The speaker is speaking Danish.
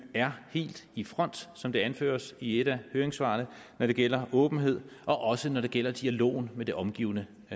er helt i front som det anføres i et af høringssvarene når det gælder åbenhed og også når det gælder dialogen med det omgivende